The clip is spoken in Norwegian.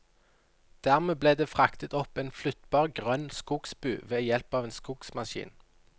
Dermed ble det fraktet opp en flyttbar grønn skogsbu ved hjelp av en skogsmaskin.